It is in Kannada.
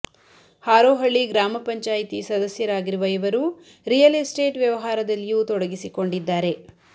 ಹಾರೋಹಳ್ಳಿ ಗ್ರಾಮ ಪಂಚಾಯಿತಿ ಸದಸ್ಯರಾಗಿರುವ ಇವರು ರಿಯಲ್ ಎಸ್ಟೇಟ್ ವ್ಯವಹಾರದಲ್ಲಿಯೂ ತೊಡಗಿಸಿಕೊಂಡಿದ್ದಾರೆ